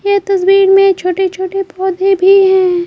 ये तस्वीर में छोटे-छोटे पौधे भी हैं।